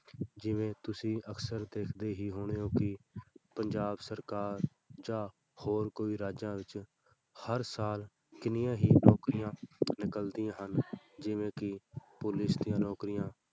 ਜਿਵੇਂ ਤੁਸੀਂ ਅਕਸਰ ਦੇਖਦੇੇ ਹੀ ਹੋਣੇ ਹੋ ਕਿ ਪੰਜਾਬ ਸਰਕਾਰ ਜਾਂ ਹੋਰ ਕੋਈ ਰਾਜਾਂ ਵਿੱਚ ਹਰ ਸਾਲ ਕਿੰਨੀਆਂ ਹੀ ਨੌਕਰੀਆਂ ਨਿਕਲਦੀਆਂ ਹਨ ਜਿਵੇਂ ਕਿ ਪੁਲਿਸ ਦੀਆਂ ਨੌਕਰੀਆ,